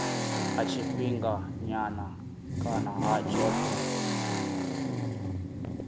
ha tshifhinganyana kana ha tshothe